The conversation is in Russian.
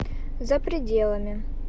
за пределами